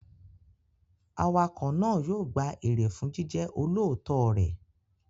Awakọ̀ náà yóò gba èrè fún jíjẹ́ olóòótọ́ rẹ̀.